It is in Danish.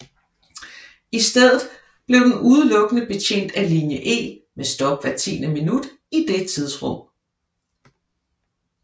I stedet bliver den udelukkende betjent af linje E med stop hvert tiende minut i det tidsrum